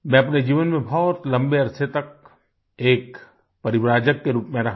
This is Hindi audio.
मैं अपने जीवन में बहुत लम्बे अरसे तक एक परिव्राजक आ वांडरिंग एसेटिक के रूप में रहा